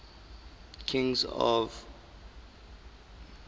kings of the myrmidons